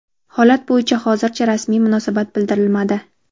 Holat bo‘yicha hozircha rasmiy munosabat bildirilmadi.